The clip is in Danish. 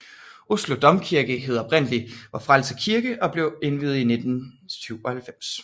Oslo Domkirke hed oprindelig Vor Frelser Kirke og blev indviet i 1697